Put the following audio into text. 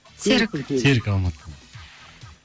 серік серік алматыдан